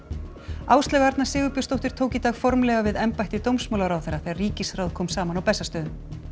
Áslaug Arna Sigurbjörnsdóttir tók í dag formlega við embætti dómsmálaráðherra þegar ríkisráð kom saman á Bessastöðum